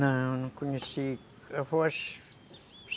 Não, não conheci. Avôs